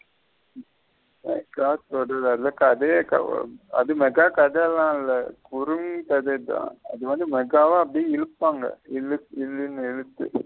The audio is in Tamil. அது மெகா கதல இல்ல குருங்கததா அது வந்து மேகவவ அப்டியே இழுப்புங்க இலுத்து .